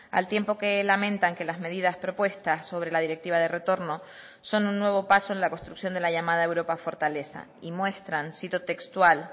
al tiempo que lamentan que las medidas propuestas sobre la directiva de retorno son un nuevo paso en la construcción de la llamada europa fortaleza y muestran cito textual